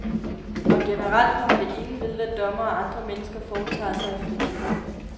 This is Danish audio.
Og generelt kommer det ingen ved, hvad dommere og andre mennesker foretager sig i fritiden.